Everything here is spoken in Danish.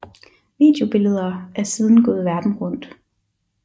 Videobilleder er siden gået verden rundt